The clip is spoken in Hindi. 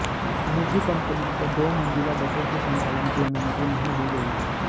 निजी कंपनियों को दो मंजिला बसों के संचालन की अनुमति नहीं दी गई है